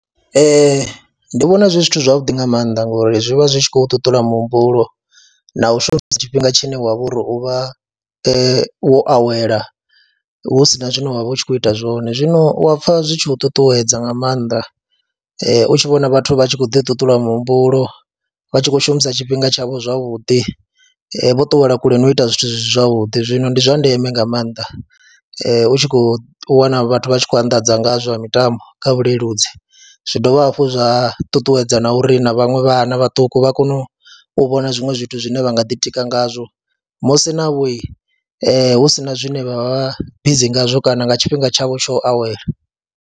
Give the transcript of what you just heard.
Ee, ndi vhona zwi zwithu zwavhuḓi nga maanḓa ngori zwi vha zwi tshi khou ṱuṱula muhumbulo na u shumisa tshifhinga tshine wa vha uri u vha wo awela hu si na zwine wa vha u tshi khou ita zwone. Zwino u wa pfha zwi tshi u ṱuṱuwedza nga maanḓa u tshi vhona vhathu vha tshi khou ḓiṱuṱula muhumbulo, vha tshi khou shumisa tshifhinga tshavho zwavhuḓi, vho ṱuwela kule na u ita zwithu zwi si zwavhuḓi. Zwino ndi zwa ndeme nga maanḓa u tshi khou wana vhathu vha tshi khou anḓadza nga zwa mitambo kha vhuleludzi, zwi dovha hafhu zwa ṱuṱuwedza na uri na vhaṅwe vhana vhaṱuku vha kone u vhona zwiṅwe zwithu zwine vha nga ḓitika ngazwo musi navho hu si na zwine vha vha bizi ngazwo kana nga tshifhinga tshavho tsho awela.